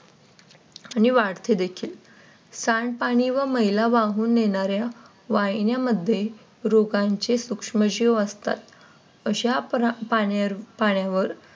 आणि वाढते देखील सांडपाणी व महिला वाहून नेणाऱ्या वाहिन्यांमध्ये रोगांचे सूक्ष्मजीव असतात. अशा पाण्यावर